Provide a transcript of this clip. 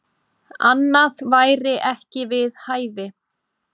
Annað væri ekki við hæfi.